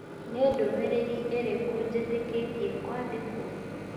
Nĩ ndũmĩrĩri irĩkũ njĩtĩkĩtie kwandĩkwo?